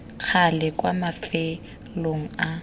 ka gale kwa mafelong a